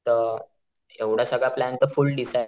तर एवढा सगळं प्लॅन तर फुल्ल डिसाइड